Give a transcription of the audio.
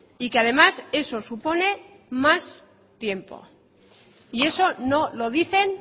y que además eso supone más tiempo y eso no lo dicen